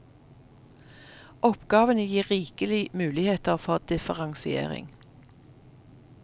Oppgavene gir rikelige muligheter for differensiering.